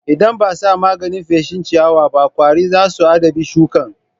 Idan ba a sa maganin feshin ciyawaba ƙwari za su addabi shukan.